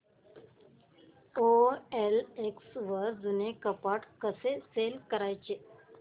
OLX वर जुनं कपाट सेल कसं करायचं